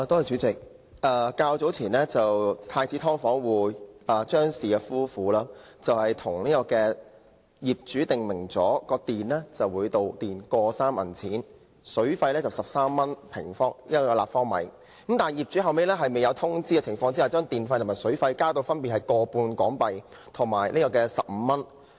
主席，住在太子道的"劏房"租戶張氏夫婦與業主訂明，每度電費 1.3 元，水費每立方米13元，但是，後來業主在未有通知的情況下，將電費和水費增至 1.5 元和15元。